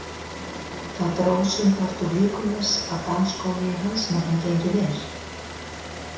Það dró sumpart úr líkum þess að dansskóli í hans nafni gengi vel.